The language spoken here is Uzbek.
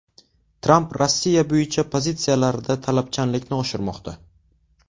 Tramp Rossiya bo‘yicha pozitsiyalarida talabchanlikni oshirmoqda.